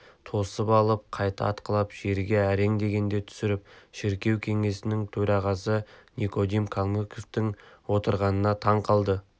тосып алып қайта атқылап жерге әрең дегенде түсірді шіркеу кеңесінің төрағасы никодим калмыковтың отырғанына таң қалды